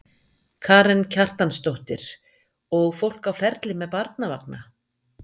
Karen Kjartansdóttir: Og fólk á ferli með barnavagna?